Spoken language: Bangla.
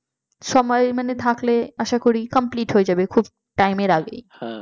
সময় মানে থাকলে আশা করি complete হয়ে যাবে খুব time র আগে